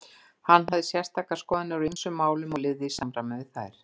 Hann hafði sérstæðar skoðanir á ýmsum málum og lifði í samræmi við þær.